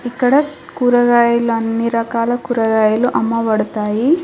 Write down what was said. ఇక్కడ కూరగాయలు అన్ని రకాల కూరగాయలు అమ్మబడతాయి.